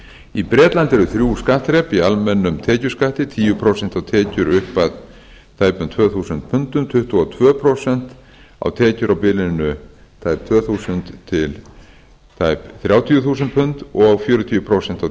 í bretlandi eru þrjú skattþrep í almennum tekjuskatti tíu prósent á tekjur upp að tæpum tvö þúsund pundum tuttugu og tvö prósent á tekjur á bilinu tæp tvö þúsund til tæpra þrjátíu þúsund punda og fjörutíu prósent á